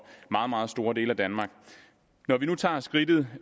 meget meget store dele af danmark når vi nu tager skridtet